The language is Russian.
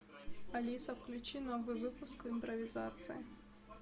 алиса включи новый выпуск импровизация